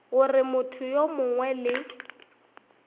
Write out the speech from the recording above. gore motho yo mongwe le